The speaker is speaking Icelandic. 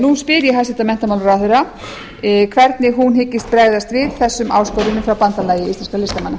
nú spyr ég hæstvirtan menntamálaráðherra hvernig hún hyggist bregðast við þessum áskorunum hjá bandalagi íslenskra listamanna